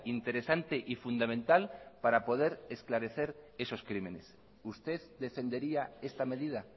interesante y fundamental para poder esclarecer esos crímenes usted defendería esta medida